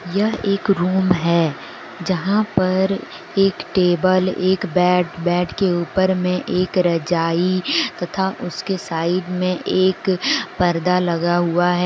यह एक रूम है जहां पर एक टेबल एक बेड बेड के ऊपर में एक रजाई तथा उसके साइड में एक पर्दा लगा हुआ है।